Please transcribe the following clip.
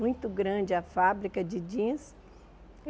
Muito grande a fábrica de jeans.